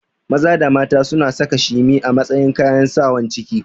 Maza da mata suna saka shimi a matsayin kayan Sawan ciki